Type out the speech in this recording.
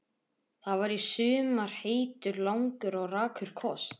Það var í sumar heitur, langur og rakur koss.